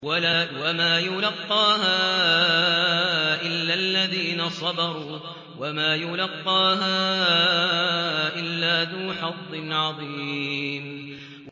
وَمَا يُلَقَّاهَا إِلَّا الَّذِينَ صَبَرُوا وَمَا يُلَقَّاهَا إِلَّا ذُو حَظٍّ عَظِيمٍ